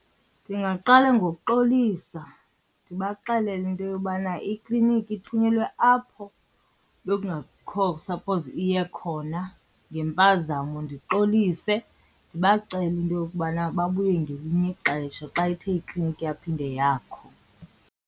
Ndingaqala ngokuxolisa ndibaxelele into yobana iklinikhi ithunyelwe apho bekungekho suppose iye khona ngempazamo. Ndixolise ndibacele into yokubana babuye ngelinye ixesha xa ithe ikliniki yaphinde yakho.